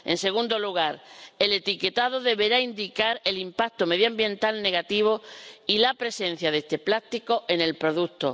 En segundo lugar, el etiquetado deberá indicar el impacto medioambiental negativo y la presencia de este plástico en el producto.